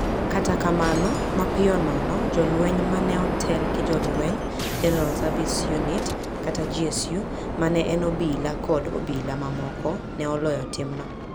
Kata kamano, mapiyo nono, jolweny ma ne otel gi jolweny, General Service Unit (GSU) ma ne en obila kod obila mamoko ne oloyo timno.